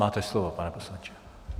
Máte slovo, pane poslanče.